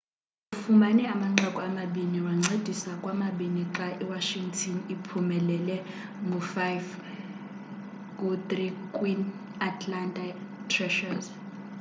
ufumene amanqaku amabini wancedisa kwamabini xa i washington iphumelele ngo-5-3 kwi-atlanta thrashers